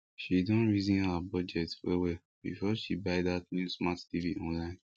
she don reason her budget well well before she buy that new smart tv online